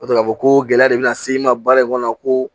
O k'a fɔ ko gɛlɛya de bɛna se i ma baara in kɔnɔ ko